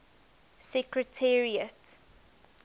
secretariat